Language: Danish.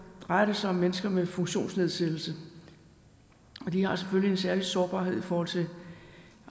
drejer det sig om mennesker med funktionsnedsættelse og de har selvfølgelig en særlig sårbarhed i forhold til